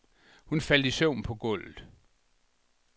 Hun faldt i søvn på gulvet.